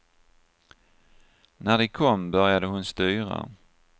När de kom började hon styra.